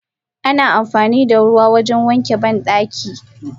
Ana amfanida ruwa wajen wanke bandaki.